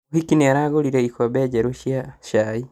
Mũhiki nĩaragũrire ikombe njerũ cia cai